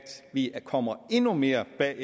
vi kommer endnu mere bagud